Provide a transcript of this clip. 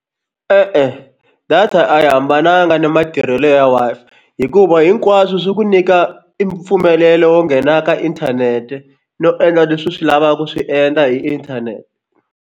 E-e data a yi hambananga na matirhelo ya Wi-Fi hikuva hinkwaswo swi ku nyika i mpfumelelo wo nghena ka inthanete no endla leswi swi lavaka ku swi endla hi inthanete.